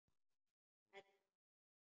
Sæll afi minn sagði hún.